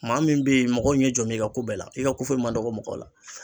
Maa min be yen mɔgɔw ɲɛ jɔ bɛ i ka ko bɛɛ la i ka ko foyi ma dɔgɔ mɔgɔw la